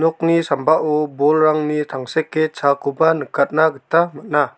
nokni sambao bolrangni tangseke chaakoba nikatna gita man·a.